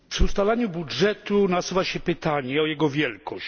Przy ustalaniu budżetu nasuwa się pytanie o jego wielkość.